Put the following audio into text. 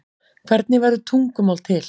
hvernig verður tungumál til